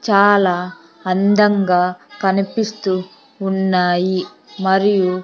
చాలా అందంగా కనిపిస్తూ ఉన్నాయి మరియు.